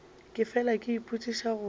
ke fela ke ipotšiša gore